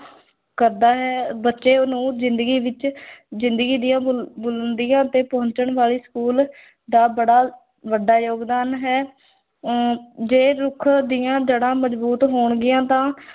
ਕਰਦਾ ਹੈ, ਬੱਚਿਆਂ ਨੂੰ ਜ਼ਿੰਦਗੀ ਵਿੱਚ ਜ਼ਿੰਦਗੀ ਦੀਆਂ ਬੁਲੰ ਬੁਲੰਦੀਆਂ ਤੇ ਪਹੁੰਚਣ ਵਾਲੇ school ਦਾ ਬੜਾ ਵੱਡਾ ਯੋਗਦਾਨ ਹੈ ਅਮ ਜੇ ਰੁੱਖ ਦੀਆਂ ਜੜ੍ਹਾਂ ਮਜ਼ਬੂਤ ਹੋਣਗੀਆਂ, ਤਾਂ